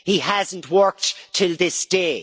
He has not worked to this day.